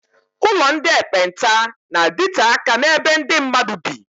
Ụlọ ndị ekpenta na-adite aka n'ebe ndị mmadụ bị.